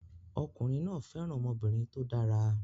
Ọkùnrin náà fẹ́ràn ọmọbìnrin tó dára